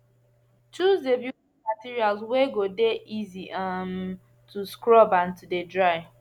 choose de building materials wey go de easy um to scrub and to de dry